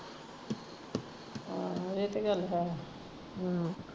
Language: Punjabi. ਆਹੋ ਏਹ ਤੇ ਗੱਲ ਹੈ ਹਮ